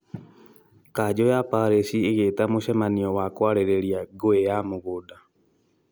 kanjo ya parĩci ĩgĩĩta mũcemanio wa kũarĩrĩa ngũĩ ya mũgũnda